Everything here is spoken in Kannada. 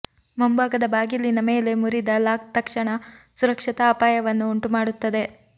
ಮುಂಭಾಗದ ಬಾಗಿಲಿನ ಮೇಲೆ ಮುರಿದ ಲಾಕ್ ತಕ್ಷಣ ಸುರಕ್ಷತಾ ಅಪಾಯವನ್ನು ಉಂಟುಮಾಡುತ್ತದೆ